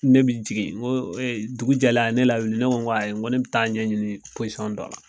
Ne bi jigin nko e dugu jɛlen a ye ne lawuli ne ko ko ayi nko ne be taa ɲɛɲini posɔn dɔla